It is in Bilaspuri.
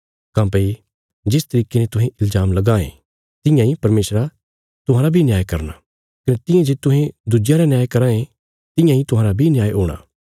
काँह्भई जिस तरिके ने तुहें इल्जाम लगां ये तियां इ परमेशरा तुहांरा बी न्याय करना कने तियां जे तुहें दुज्जेयां रा न्याय कराँ ये तियां इ तुहांरा बी न्याय हूणा